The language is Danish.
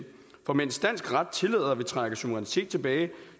for mens dansk ret tillader at vi trækker suverænitet tilbage